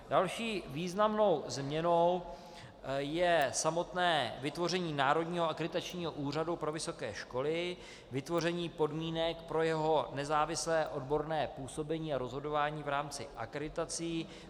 Další významnou změnou je samotné vytvoření Národního akreditačního úřadu pro vysoké školy, vytvoření podmínek pro jeho nezávislé odborné působení a rozhodování v rámci akreditací.